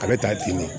A bɛ taa dimi